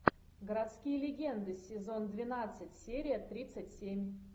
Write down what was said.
городские легенды сезон двенадцать серия тридцать семь